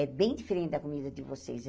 É bem diferente da comida de vocês.